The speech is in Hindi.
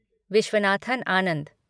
विश्वनाथन आनंद